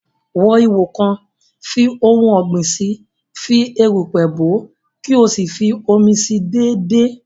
Wú ihò kan, fi ohun ọ̀gbìn si, fi erùpẹ̀ bòó, kí o sì fi omi si déédéé